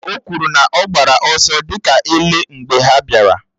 O kwụrụ na ọ gbara ọsọ dị ka ele mgbe ha bịara.